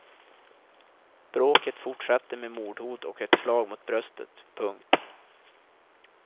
Bråket fortsatte med mordhot och ett slag mot bröstet. punkt